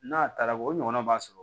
N'a taara o ɲɔgɔnna b'a sɔrɔ